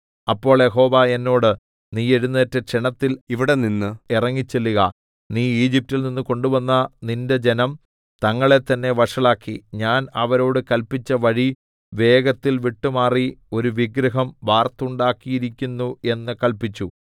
അപ്പോൾ യഹോവ എന്നോട് നീ എഴുന്നേറ്റ് ക്ഷണത്തിൽ ഇവിടെനിന്ന് ഇറങ്ങിച്ചെല്ലുക നീ ഈജിപ്റ്റിൽ നിന്ന് കൊണ്ടുവന്ന നിന്റെ ജനം തങ്ങളെത്തന്നെ വഷളാക്കി ഞാൻ അവരോട് കല്പിച്ച വഴി വേഗത്തിൽ വിട്ടുമാറി ഒരു വിഗ്രഹം വാർത്തുണ്ടാക്കിയിരിക്കുന്നു എന്ന് കല്പിച്ചു